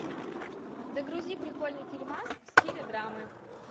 загрузи прикольный фильмас в стиле драмы